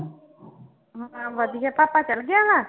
ਵਧੀਆ ਭਾਪਾ ਚਲੇ ਗਿਆ ਵਾ?